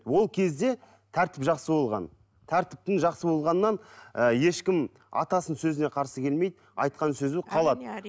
ол кезде тәртіп жақсы болған тәртіптің жақсы болғанынан ы ешкім атасының сөзіне қарсы келмейді айтқан сөзі қалады